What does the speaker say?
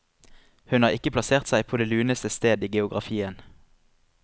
Hun har ikke plassert seg på det luneste sted i geografien.